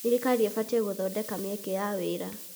Thirikari ĩbatiĩ gũthondeka mĩeke ya wĩra.